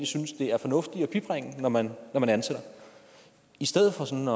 synes det er fornuftigt at bibringe når man ansætter i stedet for sådan